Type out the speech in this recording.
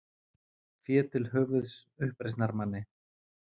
Fé til höfuðs uppreisnarmanni